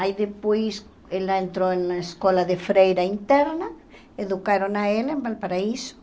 Aí depois ela entrou na escola de freira interna, educaram a ela em Valparaíso.